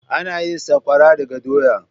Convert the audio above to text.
Ana yin sakwara daga doya.